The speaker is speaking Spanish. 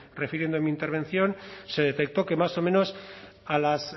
refiriendo en mi intervención se detectó que más o menos a las